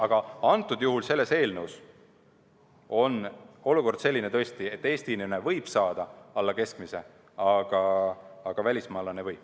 Aga antud juhul selle eelnõu järgi on olukord tõesti selline, et Eesti inimene võib saada alla keskmise, aga välismaalane ei või.